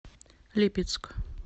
липецк